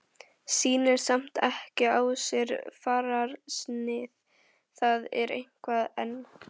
Sýnir samt ekki á sér fararsnið, það er eitthvað enn.